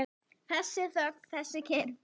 Þessi þögn, þessi kyrrð!